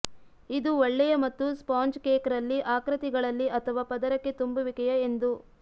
ಇದು ಒಳ್ಳೆಯ ಮತ್ತು ಸ್ಪಾಂಜ್ ಕೇಕ್ ರಲ್ಲಿ ಆಕೃತಿಗಳಲ್ಲಿ ಅಥವಾ ಪದರಕ್ಕೆ ತುಂಬುವಿಕೆಯ ಎಂದು